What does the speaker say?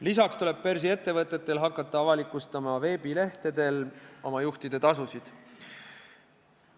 Lisaks tuleb börsiettevõtetel hakata veebilehtedel oma juhtide tasusid avalikustama.